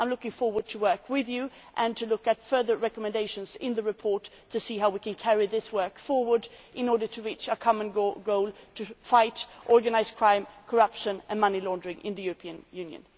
I am looking forward to working with you and to looking at further recommendations in the report to see how we can carry this work forward in order to reach a common goal to fight organised crime, corruption and money laundering in the European Union.